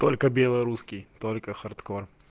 только белорусский только хардкор